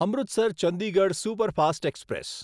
Amritsar Chandigarh superfast express